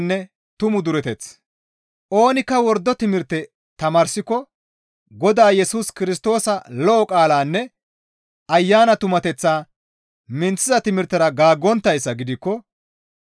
Oonikka wordo timirte tamaarsiko Godaa Yesus Kirstoosa lo7o qaalanne Ayana tumateththaa minththiza timirtera gaaggonttayssa gidikko,